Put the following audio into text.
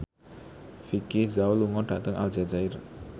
Vicki Zao lunga dhateng Aljazair